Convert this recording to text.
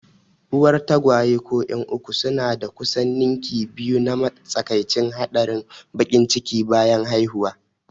Uwar tagwaye ko 'yan uku suna da kusan ninki biyu na matsakaicin haɗarin baƙin ciki bayan haihuwa.